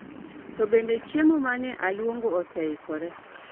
To bende chiemo ma ne aluongo ose ikore